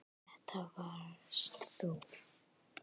Þetta varst þú.